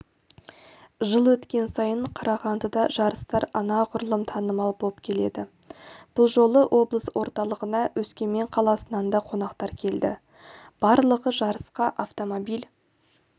жыл өткен сайын қарағандыда жарыстар анағұрлым танылам болып келеді бұл жолы облыс орталағына өскемен қаласынан да қонақтар келді барлығы жарысқа автомобиль